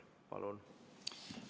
Palun!